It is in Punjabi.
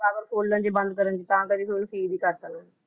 Power ਖੋਲਣ ਚ ਬੰਦ ਕਰਨ ਚ ਤਾਂ ਕਰਕੇ ਫਿਰ ਓਹਨੂੰ seal ਈ ਕਰਤਾ ਉਹ